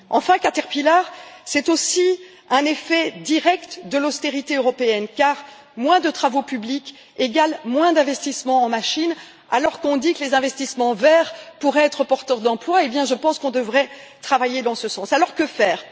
Enfin, Caterpillar, c'est aussi un effet direct de l'austérité européenne, car moins de travaux publics égale moins d'investissements en machines, alors que l'on dit que les investissements verts pourraient être porteurs d'emplois, et je pense que nous devrions travailler dans ce sens. Alors que faire?